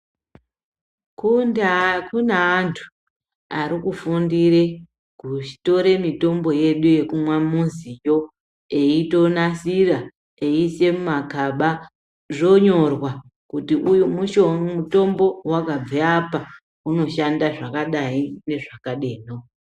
Kundaa kune antu ari kufundira kutora mitombo yedu yekumamuziyo eitonasira eiisa mugaba. Zvonyorwa kuti mutombo uye wakabva apa, unoshanda zvakadai nezvakadeno.